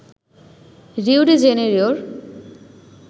Rio de জেনিরোর